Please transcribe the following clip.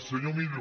senyor millo